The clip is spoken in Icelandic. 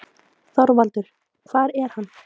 ÞORVALDUR: Hvar er hann?